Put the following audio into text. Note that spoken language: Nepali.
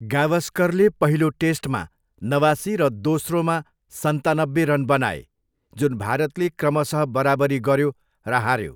गावस्करले पहिलो टेस्टमा नवासी र दोस्रोमा सन्तानब्बे रन बनाए, जुन भारतले क्रमशः बराबरी गऱ्यो र हाऱ्यो।